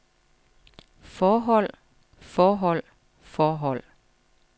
forhold forhold forhold